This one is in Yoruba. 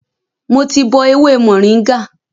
Mo ti bọ ewé mòríngà